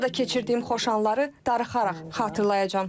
Burada keçirdiyim xoş anları darıxaraq xatırlayacam.